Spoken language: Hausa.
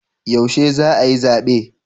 Yaushe za a yi zabe?